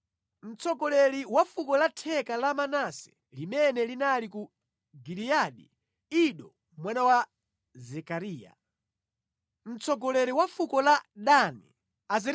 mtsogoleri wa fuko la theka la Manase limene linali ku Giliyadi: Ido mwana wa Zekariya; mtsogoleri wa fuko la Benjamini: Yaasieli mwana wa Abineri;